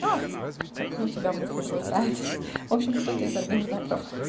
а как и у тебя мысли блуждают в общем кто-то из организаторов